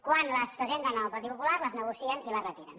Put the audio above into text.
quan les presenten el partit popular les negocien i les retiren